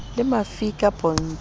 le mafika pontsho o a